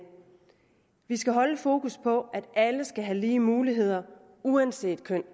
vi skal holde et fokus på at alle skal have lige muligheder uanset køn